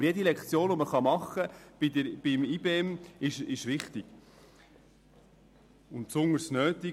Aber jede Lektion, die man bei IBEM halten kann, ist wichtig und besonders nötig.